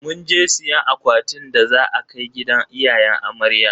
Munje siyan akwatin da za a kai gidan iyayen amarya.